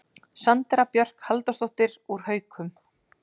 Sandra Björk Halldórsdóttir úr Haukum